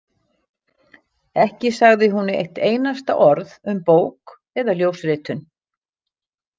Ekki sagði hún eitt einasta orð um bók eða ljósritun.